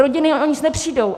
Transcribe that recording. Rodiny o nic nepřijdou.